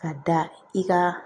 Ka da i ka